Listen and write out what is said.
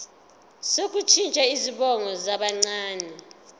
sokushintsha izibongo zabancane